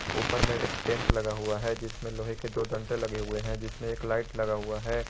ऊपर में एक टेंट लगा हुआ है जिसमें लोहे के दो डंडे लगे हुए हैं जिसमें एक लाइट लगा हुआ है।